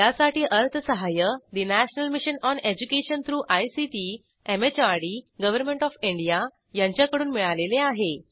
यासाठी अर्थसहाय्य national mission on education through ICT MHRD government of India यांच्याकडून मिळालेले आहे